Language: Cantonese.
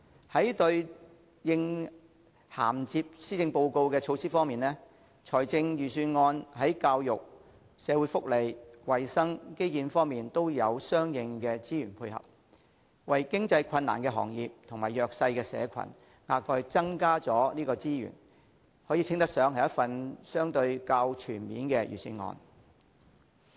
在對應銜接施政報告的措施方面，預算案在教育、社會福利、衞生及基建方面都有相應的資源配合，為經營困難的行業及弱勢社群額外增加資源，稱得上是一份相對較全面的預算案。